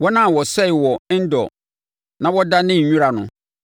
wɔn a wɔsɛee wɔ En-Dor na wɔdanee nwira no.